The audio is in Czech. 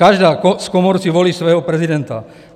Každá z komor si volí svého prezidenta.